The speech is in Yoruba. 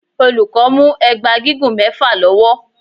Olùkọ́ mú ẹgba gígùn mẹfa lọ́wọ́.